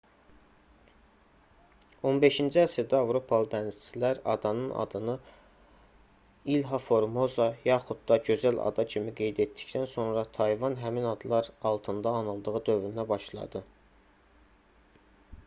15-ci əsrdə avropalı dənizçilər adanın adını i̇lha formosa yaxud da gözəl ada kimi qeyd etdikdən sonra tayvan həmin adlar altında anıldığı dövrünə başladı